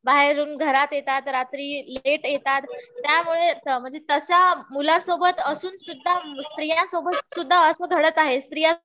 बाहेरून घरात येतात. रात्री लेट येतात. त्यामुळे म्हणजे तशा मुलांसोबत असून सुद्धा स्त्रिया सोबत सुद्धा असं घडत आहे.